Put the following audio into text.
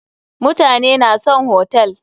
Mutane na son hotel.